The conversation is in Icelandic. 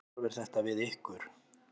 Hvernig horfir þetta við ykkur?